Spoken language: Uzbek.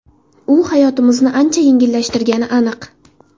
U hayotimizni ancha yengillashtirishi aniq.